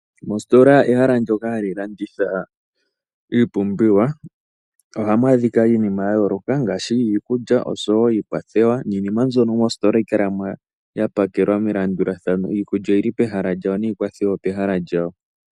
Mositola ehala ndyoka hali landitha iipumbiwa. Ohamu adhika iinima ya yooloka ngaashi iikulya oshowo iikwathewa. Iinima mbono mositola ohayi kala mo yapakelwa melandulathano iikwathewa opehalq lyawo omanga iikulya opehala lyawo.